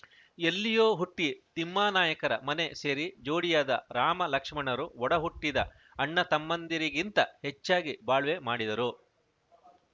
ಎಲ್ಲಿಯೋ ಹುಟ್ಟಿತಿಮ್ಮಾನಾಯಕರ ಮನೆ ಸೇರಿ ಜೋಡಿಯಾದ ರಾಮ ಲಕ್ಷ್ಮಣರು ಒಡಹುಟ್ಟಿದ ಅಣ್ಣತಮ್ಮಂದಿರಿಗಿಂತ ಹೆಚ್ಚಾಗಿ ಬಾಳ್ವೆ ಮಾಡಿದರು